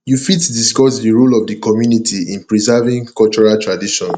you fit discuss di role of di community in preserving cultural traditions